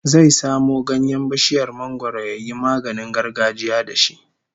Zai samo ganyen bishiyar mangwaro yayi maganin gargajiya da shi